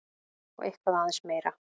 Og eitthvað aðeins meira!